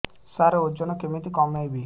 ସାର ଓଜନ କେମିତି କମେଇବି